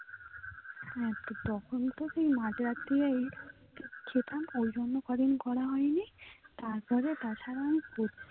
হ্যাঁ তখন তো মাঝ রাত্রে খেতাম ওইজন্য কদিন করা হয় নি তার পরে তাছাড়া আমি